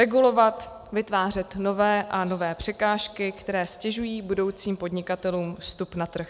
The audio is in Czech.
Regulovat, vytvářet nové a nové překážky, které ztěžují budoucím podnikatelům vstup na trh.